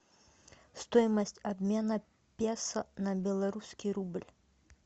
стоимость обмена песо на белорусский рубль